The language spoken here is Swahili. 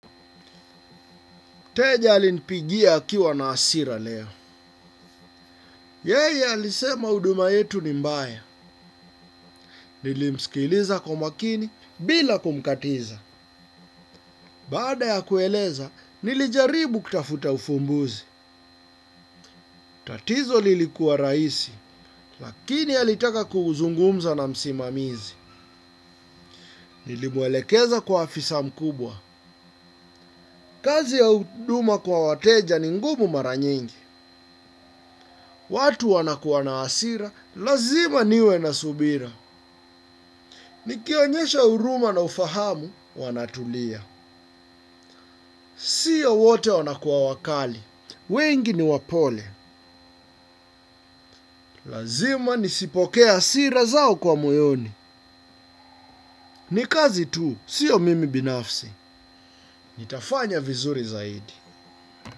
Teja alinipigia akiwa na hasira leo. Yeye alisema huduma yetu ni mbaya. Nilimsikiliza kwa makini bila kumkatiza. Baada ya kueleza, nilijaribu kutafuta ufumbuzi. Tatizo lilikuwa rahisi, lakini alitaka kuzungumza na msimamizi. Nilimwelekeza kwa afisa mkubwa. Kazi ya huduma kwa wateja ni ngumu mara nyingi. Watu wanakuwa na hasira, lazima niwe na subira. Nikionyesha huruma na ufahamu, wanatulia. Sia wote wanakuwa wakali. Wengi ni wapole. Lazima nisipokee hasira zao kwa moyoni. Ni kazi tu sio mimi binafsi. Nitafanya vizuri zaidi.